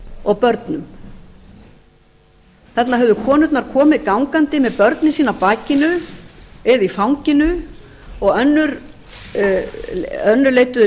og börnum þarna höfðu konurnar komið gangandi með börnin sín á bakinu eða í fanginu og önnur leiddu